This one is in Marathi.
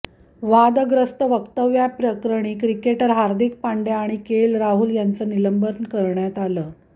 वादग्रस्त वक्तव्याप्रकरणी क्रिकेटर हार्दिक पांड्या आणि के एल राहुल यांचं निलंबन करण्यात आलं